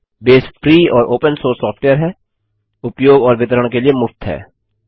base free और open source software है उपयोग और वितरण के लिए मुफ्त है